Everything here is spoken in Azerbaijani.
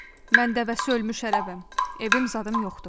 Mən dəvəsi ölmüş ərəbəm, evim zadım yoxdur.